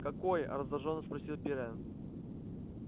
какое раздражённо спросил пиренн